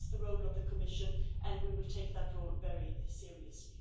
That is the role of the Commission and we will take that role very seriously.